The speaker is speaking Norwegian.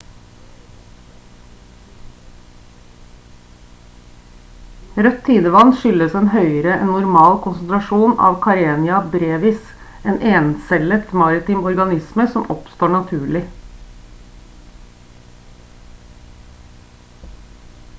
rødt tidevann skyldes en høyere enn normal konsentrasjon av karenia brevis en encellet maritim organisme som oppstår naturlig